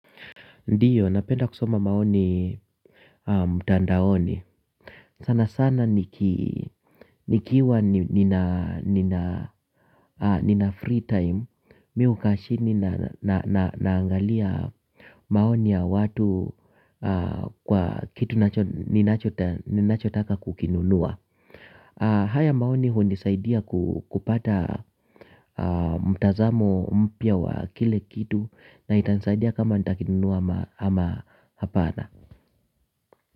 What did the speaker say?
Ndiyo, napenda kusoma maoni mtandaoni. Sana sana nikiwa nina free time. Mimi hukaa chini naangalia maoni ya watu kwa kitu ninachotaka kukinunua. Haya maoni hunisaidia kupata mtazamo mpya wa kile kitu na itanisaidia kama nitakinunua ama hapana.